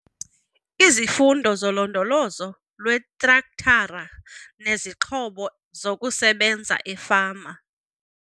Izifundo zoLondolozo lweTrektara neziXhobo zokuSebenza eFama.